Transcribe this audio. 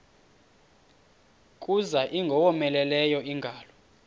kuza ingowomeleleyo ingalo